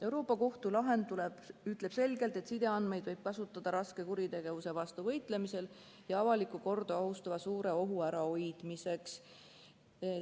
Euroopa Liidu Kohtu lahend ütleb selgelt, et sideandmeid võib kasutada raske kuritegevuse vastu võitlemisel ja avalikku korda ohustava suure ohu ärahoidmiseks.